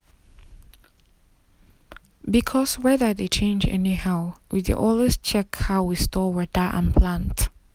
because weather dey change anyhow we dey always check how we store water and plant.